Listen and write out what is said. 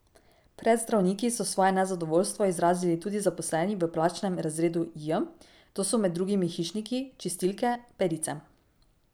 Pred zdravniki so svoje nezadovoljstvo izrazili tudi zaposleni v plačnem razredu J, to so med drugimi hišniki, čistilke, perice.